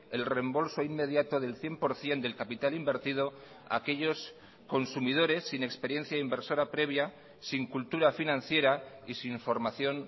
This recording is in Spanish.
el reembolso inmediato del cien por ciento del capital invertido a aquellos consumidores sin experiencia inversora previa sin cultura financiera y sin formación